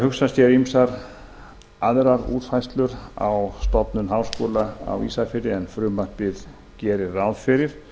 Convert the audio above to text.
hugsa sér ýmsar aðrar útfærslur á stofnun háskóla á ísafirði en frumvarpið gerir ráð fyrir